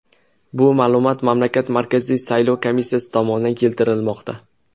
Bu ma’lumot mamlakat Markaziy saylov komissiyasi tomonidan keltirilmoqda .